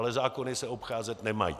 Ale zákony se obcházet nemají.